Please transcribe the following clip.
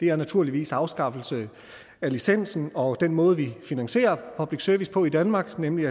er naturligvis afskaffelsen af licensen og den måde vi finansierer public service på i danmark nemlig